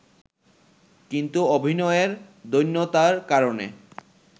কিন্তু অভিনয়ের দৈন্যতার কারণে